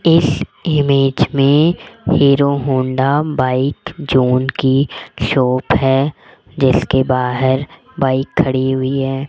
इस इमेज में Hero Honda bike zone की शॉप है जिसके बाहर बाइक खड़ी हुई है।